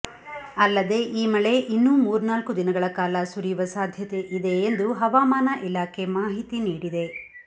ಅಲ್ಲದೆ ಈ ಮಳೆ ಇನ್ನೂ ಮೂರ್ನಾಲ್ಕು ದಿನಗಳ ಕಾಲ ಸುರಿಯುವ ಸಾಧ್ಯತೆ ಇದೆ ಎಂದು ಹವಮಾನ ಇಲಾಖೆ ಮಾಹಿತಿ ನೀಡಿದೆ